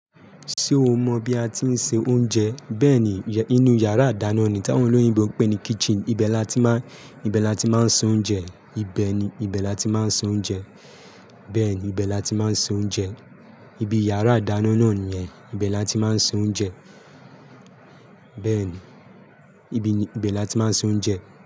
Ṣé o mọ bí a ti ń se oúnjẹ? Bẹ́ẹ̀ ni, inú yàrá ìdáná ni táwọn olóyìnbo ń pè ní kitchen. Ibe láti máa, ibe láti máa ń se oúnjẹ. Ibe ni, ibe láti máa ń se oúnjẹ. Bẹ́ẹ̀ ni, ibe láti máa ń se oúnjẹ. Ibi yàrá ìdáná náà nìyẹn. Ibe láti máa ń se oúnjẹ. Bẹ́ẹ̀ ni, ibi ni, ibe láti máa ń se oúnjẹ.